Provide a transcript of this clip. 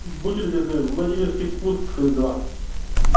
будьте любезны владимирский спуск два